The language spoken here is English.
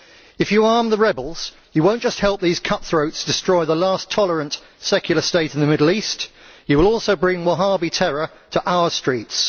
If you arm the rebels, you will not just help these cut throats destroy the last tolerant secular state in the Middle East, you will also bring Wahabi terror to our streets.